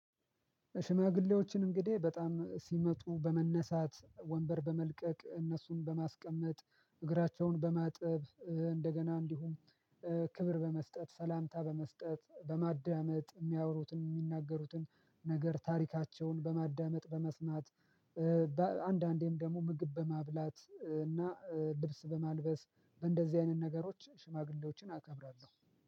ሽማግሌዎችን እንግዲህ በጣም ሲመጡ በመነሳት ወንበር በመልቀቅ እነሱን በማስቀመጥ እግራቸውን በማጠብ እንደገና እንዲሁም ክብር በመስጠት ሰላምታ በመስጠት በማዳመጥ የሚያወሩትን የሚናገሩትን ነገር ታሪካቸውን በማዳመጥ በመስማት። በአንዳንዴም ደግሞ ምግብ በማብላት እና ልብስ በማልበስ በእንደዚህ አይነት ነገሮች ሽማግሌዎችን አከብራለሁ።